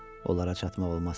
Onlara çatmaq olmaz.